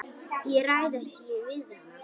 Ég ræð ekki við hann!